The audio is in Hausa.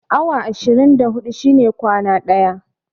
Awa ashirin da huɗu shine kwana ɗaya